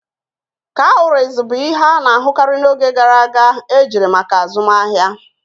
Cowries bụ ihe a na-ahụkarị n'oge gara aga ejiri maka azụmahịa